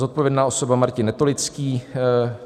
Zodpovědná osoba: Martin Netolický.